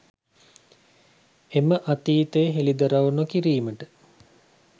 එම අතීතය හෙළිදරව් නොකිරීමට